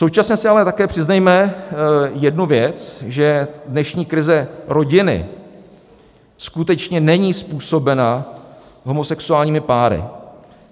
Současně si ale také přiznejme jednu věc, že dnešní krize rodiny skutečně není způsobena homosexuálními páry.